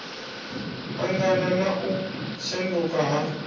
angana na u shanduka ha